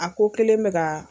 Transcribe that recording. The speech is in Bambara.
A ko kelen bɛ ka.